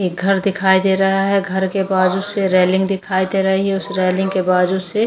घर दिखाई दे रहा है घर के बाजू से रेलिंग दिखाई दे रही है उस रेलिंग के बाजू से --